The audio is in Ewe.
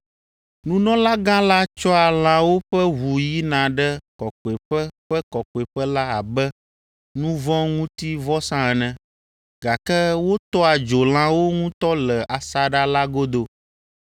Nunɔlagã la tsɔa lãwo ƒe ʋu yina ɖe Kɔkɔeƒe ƒe Kɔkɔeƒe la abe nu vɔ̃ ŋuti vɔsa ene, gake wotɔa dzo lãwo ŋutɔ le asaɖa la godo.